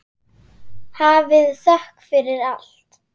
Hafið þökk fyrir allt.